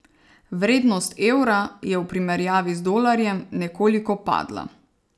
Vrednost evra je v primerjavi z dolarjem nekoliko padla.